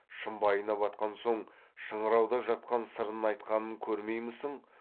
шымбайына батқан соң шыңырауда жатқан сырын айтқанын көрмеймісің